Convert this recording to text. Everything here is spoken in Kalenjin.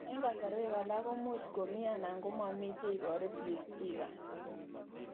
Eng' kasarwek alak ko much komii anan ko mamii che ibaru Peutz Jaghers